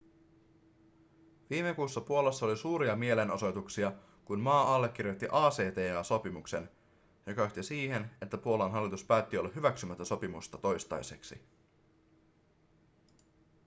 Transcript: viime kuussa puolassa oli suuria mielenosoituksia kun maa allekirjoitti acta-sopimuksen joka johti siihen että puolan hallitus päätti olla hyväksymättä sopimusta toistaiseksi